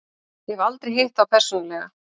Ég hef aldrei hitt þá persónulega.